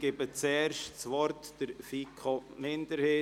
Ich erteile das Wort zuerst der FiKoMinderheit.